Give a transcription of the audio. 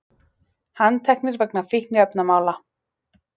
Handteknir vegna fíkniefnamála